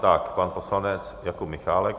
Tak pan poslanec Jakub Michálek.